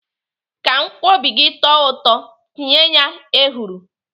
Ka nkwobi gị tọọ ụtọ, tinye ya ehuru.